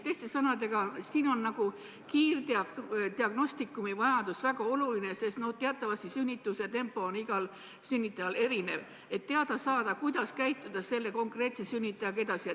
Teiste sõnadega, siin on kiirdiagnostikumi vajadus väga oluline , et teada saada, kuidas käituda selle konkreetse sünnitajaga edasi.